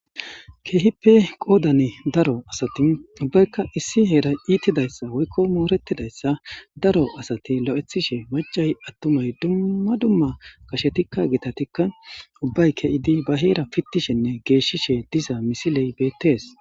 Keehippe qodan daro asati ubbayka issi heray iitidaysa woyko moretidaysa daro asat lo'ethishe macay atumay dumma dumma gashetika hitatika ubbay ke'id ba Hera pitishenne geshishe diza misiley betes